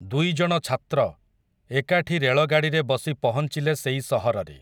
ଦୁଇଜଣ ଛାତ୍ର, ଏକାଠି ରେଳଗାଡ଼ିରେ ବସି ପହଞ୍ଚିଲେ ସେଇ ସହରରେ ।